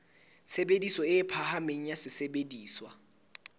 tshebediso e phahameng ya sesebediswa